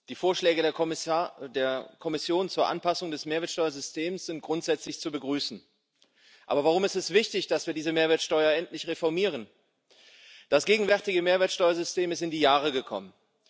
Die Vorschläge der Kommission zur Anpassung des Mehrwertsteuersystems sind grundsätzlich zu begrüßen. Aber warum ist es wichtig, dass wir diese Mehrwertsteuer endlich reformieren? Das gegenwärtige Mehrwertsteuersystem ist in die Jahre gekommen.